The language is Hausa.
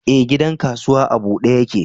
Ee, gidan kasuwa a bude yake.